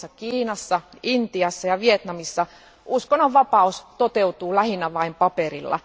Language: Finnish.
Muun muassa Kiinassa, Intiassa ja Vietnamissa uskonnonvapaus toteutuu lähinnä vain paperilla.